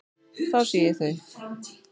Þá sé ég þau.